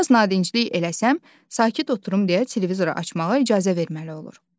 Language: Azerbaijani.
Biraz nadinclik eləsəm, sakit oturum deyə televizoru açmağa icazə verməli olur.